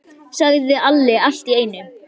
Heyrðu, sagði Alli allt í einu.